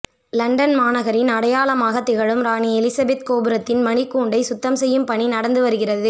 London மாநகரின் அடையாளமாக திகழும் ராணி எலிசபெத் கோபுரத்தின் மணிகூண்டை சுத்தம் செய்யும் பணி நடந்து வருகிறது